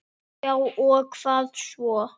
Já og hvað svo!